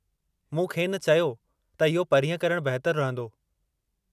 मूं खेनि चयो त इहो परींहं करणु बहितरु रहंदो।